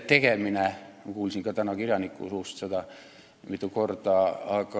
Ma kuulsin ka täna kirjaniku suust seda mitu korda.